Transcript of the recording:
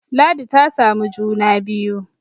ladi ta samu juna biyu